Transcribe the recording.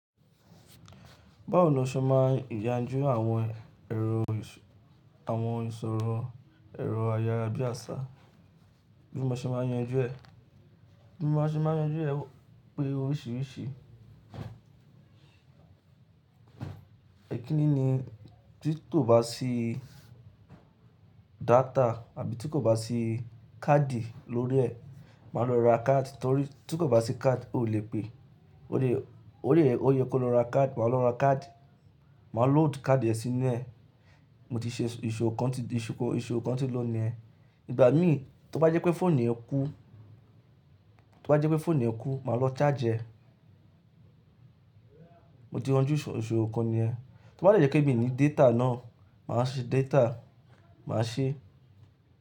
Báwo ni o ṣe máa ń yanjú àwọn èrò, àwọn ìṣòro, èrò ayárabíàṣá? Bí mo ṣe máa ń yanjú ẹ̀? Bí mo ṣe máa ń yanjú ẹ̀ pé oríṣiríṣi. Ẹ̀kíni ni tí kò bá sí data àbí tí kò bá sí káàdì lórí ẹ̀, máa lọ ra káàdì torí tí kò bá sí káàdì o lè pè. O le, o yẹ, o yẹ kó lọ ra káàdì, màá lọ ra káàdì. Màá load káàdì ẹ̀ sínú ẹ̀. Mo ti ṣe ìṣòro kan ti, ìṣòro kan ti lò ní ẹ. Ìgbà mí tí ó bá jẹ́ pé fóònù yẹn kú, tí ó bá jẹ́ pé fóònù yẹn kú, màá lọ charge ẹ̀. Mo ti ránjú ìṣòro kan ni ẹ. Tí ó bá jẹ́ kí èmi ní data náà, màá ṣe data, màá ṣe.